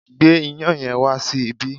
Gbé iyán yẹn wá sí ibí!